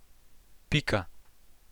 Pika.